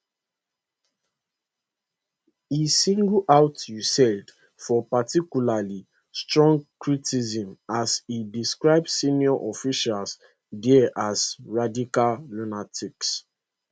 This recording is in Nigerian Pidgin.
e single out usaid for particularly strong criticism as e describe senior officials there as radical lunatics